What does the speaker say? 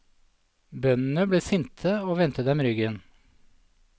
Bøndene ble sinte og vendte dem ryggen.